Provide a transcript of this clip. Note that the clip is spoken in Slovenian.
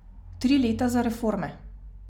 Tri leta za reforme.